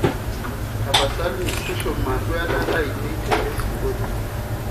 tapasali tushuma duata ainei te lesi ngolio